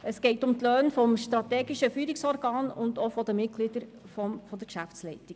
Es geht um die Löhne des strategischen Führungsorgans sowie jene der Mitglieder der Geschäftsleitung.